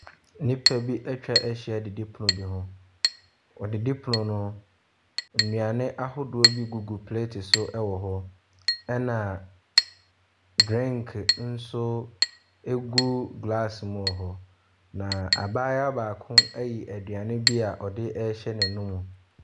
Nnipa bi ɛtwahyia didipono bi ho. Wɔ didipono no ho no, nnuane ahodoɔ bi gugu plate so wɔ ho ɛna drink nso egu glass mu ɛwɔ hɔ. Na abaayewa baako ɛyi aduane bia ɔdehyɛ n'anum.